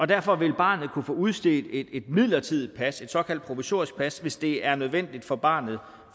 derfor vil barnet kunne få udstedt et midlertidigt pas et såkaldt provisorisk pas hvis det er nødvendigt for barnet